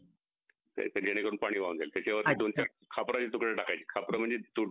अच्छा मा हा तेच ना